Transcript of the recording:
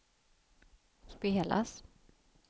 spelas